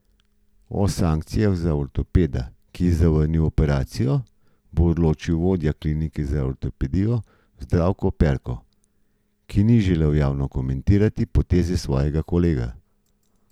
O sankcijah za ortopeda, ki je zavrnil operacijo, bo odločil vodja klinike za ortopedijo Zdravko Perko, ki ni želel javno komentirati poteze svojega kolega.